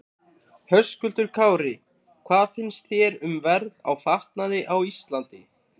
Höskuldur Kári: Hvað finnst þér um verð á fatnaði á Íslandi?